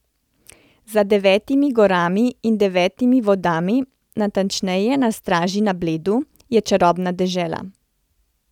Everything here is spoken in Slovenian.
Za devetimi gorami in devetimi vodami, natančneje na Straži na Bledu, je čarobna dežela.